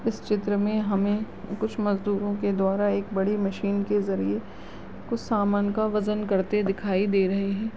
इस चित्र में हमे कुछ मजदूरो के द्वारा एक बड़ी मशीन के जरिये कुछ सामान का वजन करते दिखाई दे रहे है।